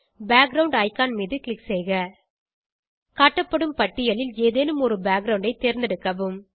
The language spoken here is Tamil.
பேக்கிரவுண்ட் இக்கான் மீது க்ளிக் செய்க காட்டப்படும் பட்டியலில் ஏதேனும் ஒரு பேக்கிரவுண்ட் ஐ தேர்ந்தெடுக்கவும்